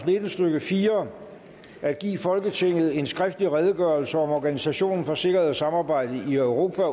nitten stykke fire at give folketinget en skriftlig redegørelse om organisationen for sikkerhed og samarbejde i europa